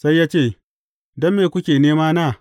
Sai ya ce, Don me kuke nemana?